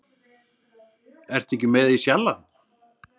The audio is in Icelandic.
Ertu ekki með í Sjallann?